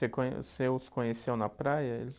Você com, você os conheceu na praia eles?